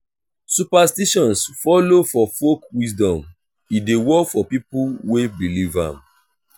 superstitions follow for folk wisdom e de work for pipo wey believe am